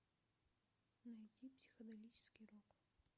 найди психоделический рок